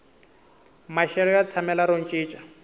maxelo ya tshamela ro cinca